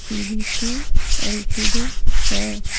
P V T L _T_ D है।